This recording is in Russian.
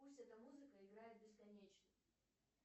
пусть эта музыка играет бесконечно